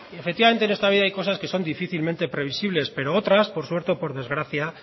efectivamente en esta vida hay cosas que son difícilmente previsibles pero otras por suerte o por desgracia